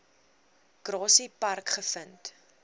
grassy park gevind